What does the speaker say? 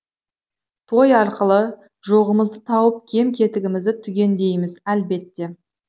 той арқылы жоғымызды тауып кем кетігімізді түгендейміз әлбетте